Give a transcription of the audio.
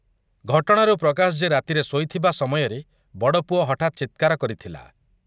ଘଟଣାରୁ ପ୍ରକାଶ ଯେ ରାତିରେ ଶୋଇଥିବା ସମୟରେ ବଡ଼ପୁଅ ହଠାତ୍ ଚିତ୍କାର କରିଥିଲା ।